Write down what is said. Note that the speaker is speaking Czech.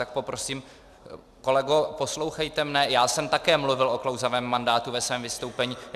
Tak poprosím, kolego, poslouchejte mě, já jsem také mluvil o klouzavém mandátu ve svém vystoupení.